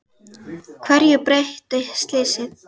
Hverju breytti slysið?